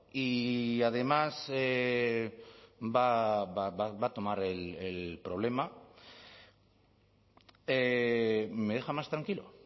y además va a tomar el problema me deja más tranquilo